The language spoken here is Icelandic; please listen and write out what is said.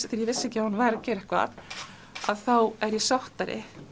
þegar ég vissi ekki að hún væri að gera eitthvað þá er ég sáttari